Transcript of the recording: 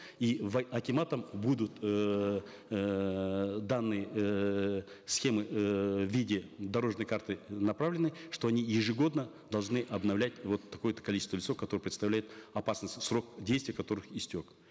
и акиматом будут эээ данные эээ схемы эээ в виде дорожной карты направлены что они ежегодно должны обновлять вот такое то количество которые представляют опасность срок действия которых истек